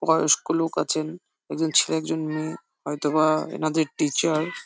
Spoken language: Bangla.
বয়স্ক লোক আছেন একজন ছেলে একজন মেয়ে। হয়তো বা এনাদের এনারদের একজন টিচার ।